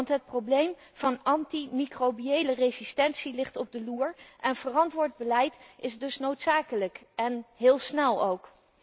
Want het probleem van anti microbiële resistentie ligt op de loer en verantwoord beleid is dus noodzakelijk, en heel snel ook.